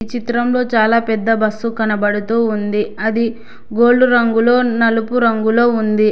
చిత్రంలో చాలా పెద్ద బస్సు కనబడుతూ ఉంది అది గోల్డ్ రంగులో నలుపు రంగులో ఉంది.